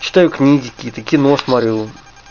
читаю книги какие-то кино смотрю